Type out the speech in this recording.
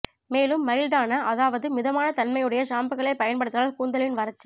மேலும் மைல்டான அதாவது மிதமான தன்மையுடைய ஷாம்புக்களை பயன்படுத்தினால் கூந்தலின் வறட்சி